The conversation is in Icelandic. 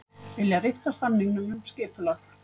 Vilja rifta samningum um skipulag